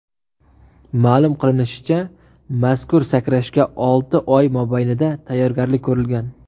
Ma’lum qilinishicha, mazkur sakrashga olti oy mobaynida tayyorgarlik ko‘rilgan.